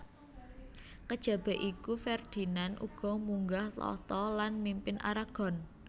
Kejaba iku Ferdinand uga munggah tahta lan mimpin Aragon